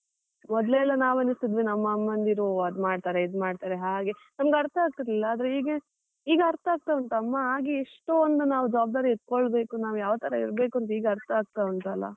ಮೊದ್ಲೆಲ್ಲಾ ನಾವು ಎಣಿಸ್ತಿದ್ವಿ, ನಮ್ಮ ಅಮ್ಮಂದಿರು ಓ ಅದ್ ಮಾಡ್ತಾರೇ ಇದ್ ಮಾಡ್ತಾರೆ ಹಾಗೆ ನಮಗೆ ಅರ್ಥ ಆಗ್ತಿರ್ಲಿಲ್ಲ ಆದ್ರೆ ಈಗ ಈಗ ಅರ್ಥ ಆಗ್ತಾ ಉಂಟು. ಅಮ್ಮ ಆಗಿ ಎಷ್ಟೊಂದು ನಾವು ಜವಾಬ್ದಾರಿ ಎತ್ಕೊಳ್ಬೇಕು ನಾವ್ ಯಾವ ತರ ಇರ್ಬೇಕು, ಅಂತ ಈಗ ಅರ್ಥ ಅಗ್ತಾ ಉಂಟು ಅಲ್ಲ.